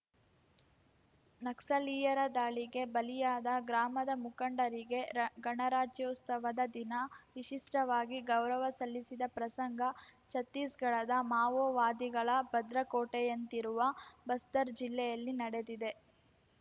ನಕ್ಸಲೀಯರ ದಾಳಿಗೆ ಬಲಿಯಾದ ಗ್ರಾಮದ ಮುಖಂಡರಿಗೆ ಗಣರಾಜ್ಯೋತ್ಸವದ ದಿನ ವಿಶಿಷ್ಟವಾಗಿ ಗೌರವ ಸಲ್ಲಿಸಿದ ಪ್ರಸಂಗ ಛತ್ತೀಸ್‌ಗಢದ ಮಾವೋವಾದಿಗಳ ಭದ್ರ ಕೋಟೆಯಂತಿರುವ ಬಸ್ತರ್‌ ಜಿಲ್ಲೆಯಲ್ಲಿ ನಡೆದಿದೆ